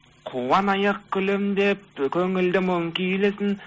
қуанайық күлімдеп ы көңілді мұң күйресін